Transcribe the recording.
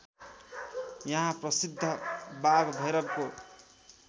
यहाँ प्रसिद्ध बाघभैरवको